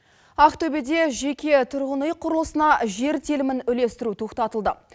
ақтөбеде жеке тұрғын үй құрылысына жер телімін үлестіру тоқтатылды